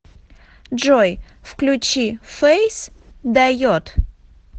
джой включи фейс дает